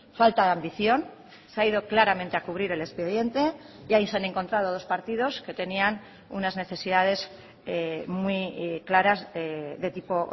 falta de ambición se ha ido claramente a cubrir el expediente y ahí se han encontrado dos partidos que tenían unas necesidades muy claras de tipo